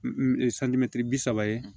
bi saba ye